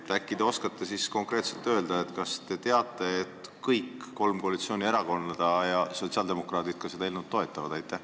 Äkki te oskate konkreetselt öelda, kas kõik kolm koalitsioonierakonda – sotsiaaldemokraadid ka – toetavad seda eelnõu?